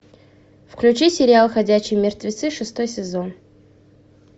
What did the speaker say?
включи сериал ходячие мертвецы шестой сезон